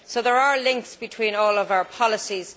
So there are links between all of our policies.